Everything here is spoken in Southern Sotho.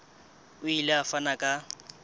o ile a fana ka